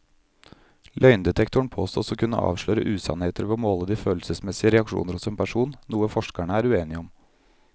Løgndetektoren påstås å kunne avsløre usannheter ved å måle de følelsesmessige reaksjoner hos en person, noe forskerne er uenige om.